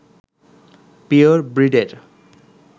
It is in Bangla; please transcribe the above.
পিওর ব্রিডের